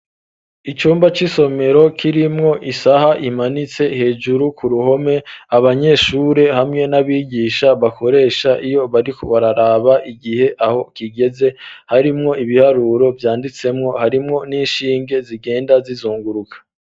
Icumba c'isomero kirimwo isaha imanitse hejuru ku ruhome ,abanyeshure hamwe n'abigisha bakoresha, iyo bari bararaba igihe aho kigeze ,harimwo ibiharuro Vyanditsemwo ,harimwo n'ishinge zigenda zizunguruka.